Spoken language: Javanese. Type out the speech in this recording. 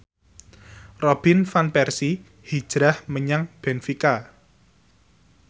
Robin Van Persie hijrah menyang benfica